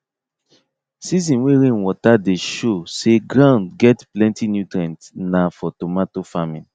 season way rainwater dey show say ground get plenty nutrients nah for tomato farming